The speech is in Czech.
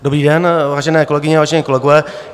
Dobrý den, vážené kolegyně, vážení kolegové.